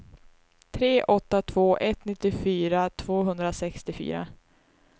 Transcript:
tre åtta två ett nittiofyra tvåhundrasextiofyra